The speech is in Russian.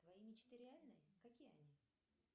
твои мечты реальные какие они